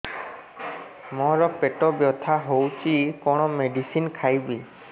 ମୋର ପେଟ ବ୍ୟଥା ହଉଚି କଣ ମେଡିସିନ ଖାଇବି